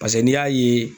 Paseke n'i y'a ye